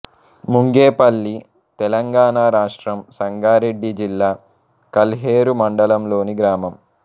ముంగేపల్లి తెలంగాణ రాష్ట్రం సంగారెడ్డి జిల్లా కల్హేరు మండలంలోని గ్రామం